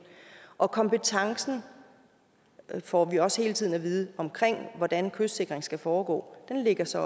og kompetencen får vi også hele tiden at vide omkring hvordan kystsikring skal foregå ligger så